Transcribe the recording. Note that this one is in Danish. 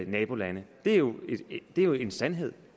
nabolande det er jo jo en sandhed